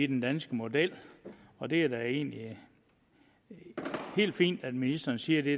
den danske model og det er da egentlig helt fint at ministeren siger det